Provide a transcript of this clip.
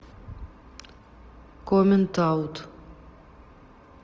коммент аут